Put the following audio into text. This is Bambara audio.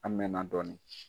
An mɛnna dɔni.